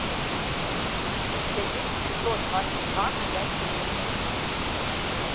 у тебя есть эпизод двадцать два ходячие мертвецы